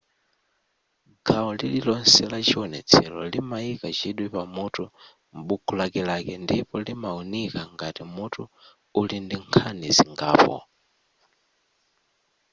gawo lililonse la chiwonetselo limayika chidwi pa mutu m'buku lakelake ndipo limawunika ngati mutu uli ndi nkhani zingapo